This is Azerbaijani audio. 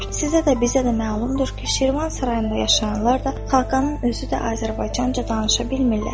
Sizə də, bizə də məlumdur ki, Şirvan sarayında yaşayanlar da, Xaqanın özü də Azərbaycanca danışa bilmirlər.